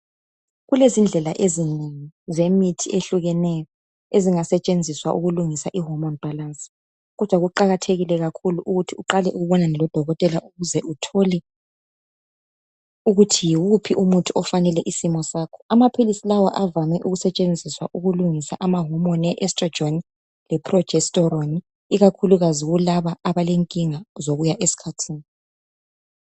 Kulezindlela ezinengi exehlukeneyo ezingasetshenxiswa ukulungisa ihormorne balance, kodwa kuqakathekile kakhulu ukuthi uqale ubonane lodokotela wskho. Ukuze sbekwazi ukuthi, Amaphilisi lawa ayele ukusetshenziswa ukulungisa